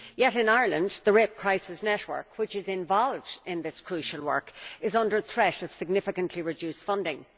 Yet in Ireland the Rape Crisis Network, which is involved in this crucial work, is under threat of significantly reduced funding.